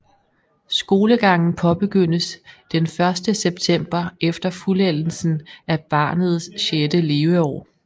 Skolegangen påbegyndes den første september efter fuldendelsen af barnets sjette leveår